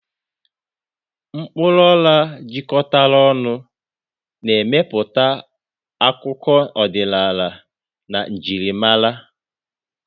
Mkpuru ola jikọtara ọnụ, na-emepụta akụkọ ọdịnala na njirimara.